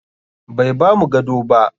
Bai bamu gado ba.